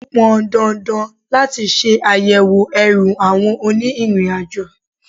Ó pọn dandan láti ṣe àyẹ̀wò ẹrù àwọn òní ìrìn àjò.